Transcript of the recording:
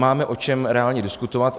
Máme o čem reálně diskutovat.